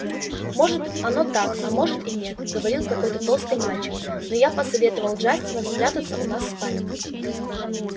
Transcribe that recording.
может оно так а может и нет говорил какой-то толстый мальчик но я посоветовал джастину спрятаться у нас в спальне